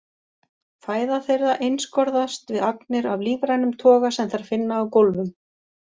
Fæða þeirra einskorðast við agnir af lífrænum toga sem þær finna á gólfum.